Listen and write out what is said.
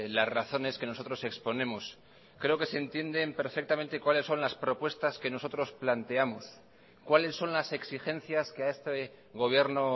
las razones que nosotros exponemos creo que se entienden perfectamente cuáles son las propuestas que nosotros planteamos cuáles son las exigencias que a este gobierno